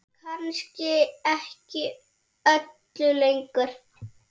Kannski ekki öllu lengur?